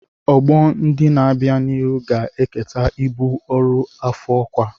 Ọgbọ ndị na-abịa n'ihu ga-eketa ibu ọrụ afọ-ọkwa.